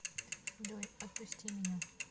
джой отпусти меня